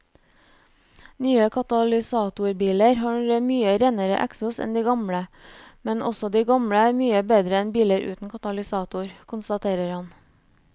Nye katalysatorbiler har mye renere eksos enn de gamle, men også de gamle er mye bedre enn biler uten katalysator, konstaterer han.